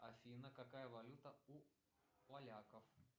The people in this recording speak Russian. афина какая валюта у поляков